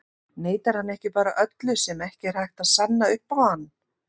Neitar hann ekki bara öllu sem ekki er hægt að sanna upp á hann?